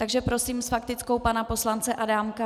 Takže prosím s faktickou pana poslance Adámka.